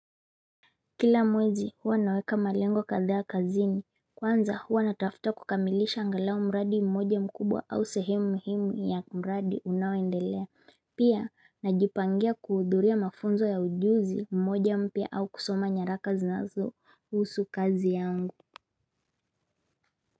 Kila mwezi huwa naweka malengo kadha kazini, kwanza huwa natafuta kukamilisha angalau mradi mmoja mkubwa au sehimu muhimu ya mradi unaoendelea, pia najipangia kuudhuria mafunzo ya ujuzi mmoja mpya au kusoma nyara zina nazo husu kazi yangu.